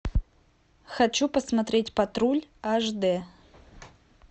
хочу посмотреть патруль аш дэ